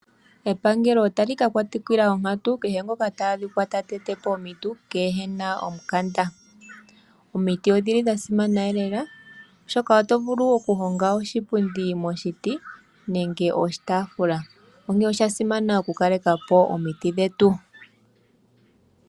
Epangelo otali ka katukila kehe ngoka ta adhika ta tetepo omiiti kena omukanada. Omiiti odhili dhasimana lela oshoka otovulu okuhonga oshipundi moshiti nenge oshitafula onkene oshasimana okukaleka po omiiti dhetu.